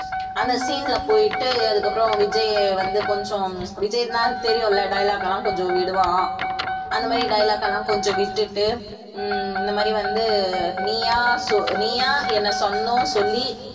அந்த scene ல போயிட்டு அதுக்கப்புறம் விஜய் வந்து கொஞ்சம் விஜய்னா தெரியும்ல dialogue எல்லாம் கொஞ்சம் விடுவான் அந்த மாதிரி dialogue எல்லாம் கொஞ்சம் விட்டுட்டு உம் இந்த மாதிரி வந்து நீயா சொ~ நீயா என்னை சொந்தம் சொல்லி